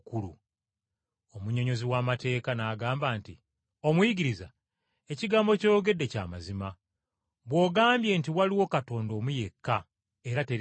Omunnyonnyozi w’amateeka n’agamba nti, “Omuyigiriza ekigambo ky’oyogedde kya mazima bw’ogambye nti waliwo Katonda omu yekka era teriiyo mulala.